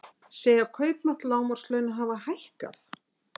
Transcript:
Segja kaupmátt lágmarkslauna hafa hækkað